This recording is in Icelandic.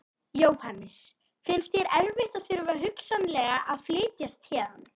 Jóhannes: Finnst þér erfitt að þurfa hugsanlega að flytjast héðan?